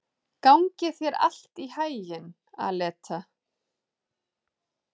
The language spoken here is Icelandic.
Gangi þér allt í haginn, Aleta.